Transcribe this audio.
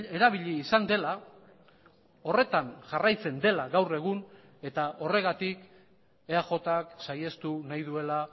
erabili izan dela horretan jarraitzen dela gaur egun eta horregatik eajk saihestu nahi duela